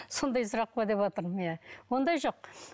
сондай сұрақ па деватырмын иә ондай жоқ